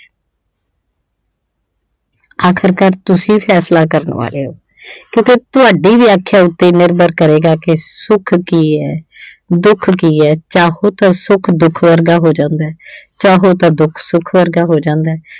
ਆਖਿਰਕਾਰ ਤੁਸੀਂ ਫੈਸਲਾ ਕਰਨ ਵਾਲੇ ਹੋ ਕਿਤੇ ਤੁਹਾਡੀ ਵਿਆਖਿਆ ਉੱਪਰ ਨਿਰਭਰ ਕਰੇਗਾ ਕੀ ਸੁੱਖ ਕੀ ਐ ਦੁੱਖ ਕੀ ਐ ਚਾਹੋ ਤਾਂ ਸੁੱਖ ਦੁੱਖ ਵਰਗਾ ਹੋ ਜਾਂਦਾ ਚਾਹੋ ਤਾਂ ਦੁੱਖ ਸੁੱਖ ਵਰਗਾ ਹੋ ਜਾਂਦਾ।